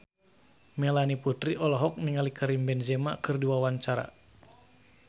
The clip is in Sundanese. Melanie Putri olohok ningali Karim Benzema keur diwawancara